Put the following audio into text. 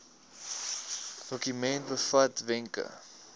dokument bevat wenke